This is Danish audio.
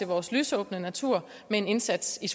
vores lysåbne natur med en indsats i